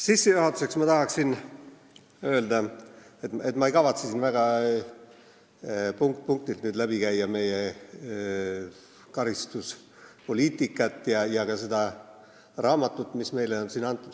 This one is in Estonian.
Sissejuhatuseks tahaksin öelda, et ma ei kavatse siin punkt-punktilt läbi käia meie karistuspoliitikat ja ka seda raamatut, mis meil siin on.